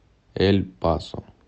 эль пасо